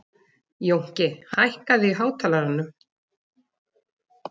Jónki, hækkaðu í hátalaranum.